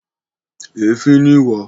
Èéfín ni ìwà.